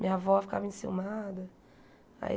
Minha avó ficava enciumada. Aí